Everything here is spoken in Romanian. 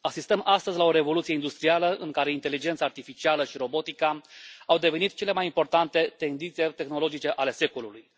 Asistăm astăzi la o revoluție industrială în care inteligența artificială și robotica au devenit cele mai importante tendințe tehnologice ale secolului.